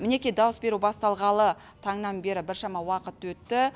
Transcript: мінекей дауыс беру басталғалы таңнан бері біршама уақыт өтті